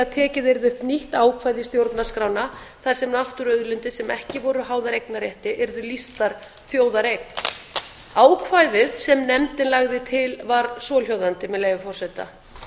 tekið yrði upp nýtt ákvæði í stjórnarskrána þar sem náttúruauðlindir sem ekki voru háðar eignarrétti yrðu lýstar þjóðareign ákvæðið sem nefndin lagði til var svohljóðandi með leyfi forseta